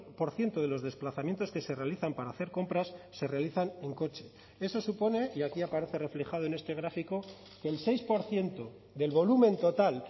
por ciento de los desplazamientos que se realizan para hacer compras se realizan en coche eso supone y aquí aparece reflejado en este gráfico el seis por ciento del volumen total